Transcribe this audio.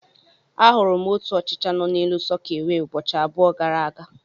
Ahụrụ m otu ọchịcha nọ n'elu sọkeewe ụbọchị abụọ gara aga.